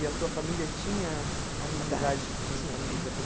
E a sua família tinha amizade com famílias japonesas?